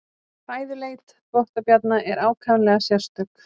Fæðuleit þvottabjarna er ákaflega sérstök.